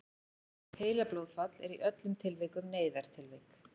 heilablóðfall er í öllum tilvikum neyðartilvik